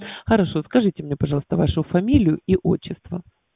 хорошо скажите мне пожалуйста вашу фамилию и отчество